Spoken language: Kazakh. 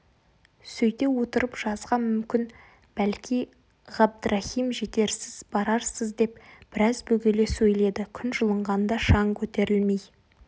сөйте отырып жазға мүмкін бәлки ғабдрахим жетерсіз барарсыз деп біраз бөгеле сөйледі күн жылынғанда шаң көтерілмей